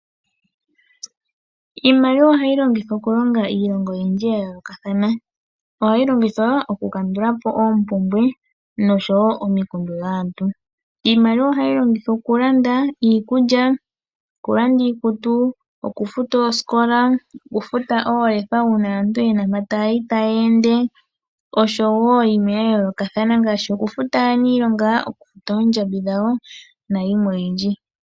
Iimaliwa ohayi longithwa okulonga iilonga oyindji ya yoolokathana. Ohayi longithwa okukandula po oompumbwe oshowo omikundu dhaantu. Iimaliwa ohayi longithwa okulanda iikulya, okulanda iikutu, okufuta oosikola, okufuta oolefa uuna aantu ye na mpoka taa yi noshowo yimwe ya yoolokathana ngaashi okufuta aaniilonga, okufuta oondjambi dhawo nayilwe oyindji.